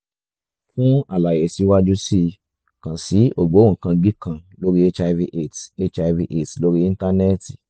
fún àlàyé síwájú sí i kàn sí ògbóǹkangí kan lórí hiv aids hiv aids lórí íńtánẹ́ẹ̀tì